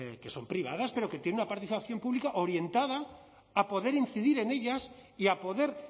que son privadas pero que tienen una participación pública orientada a poder incidir en ellas y a poder